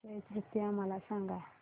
अक्षय तृतीया मला सांगा